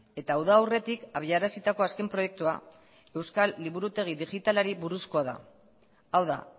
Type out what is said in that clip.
eta uda aurretik abiarazitako azken proiektua euskal liburutegi digitalari buruzkoa da hau da